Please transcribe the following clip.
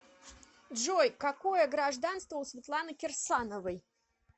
джой какое гражданство у светланы кирсановой